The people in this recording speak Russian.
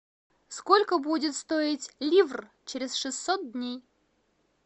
сколько будет стоить ливр через шестьсот дней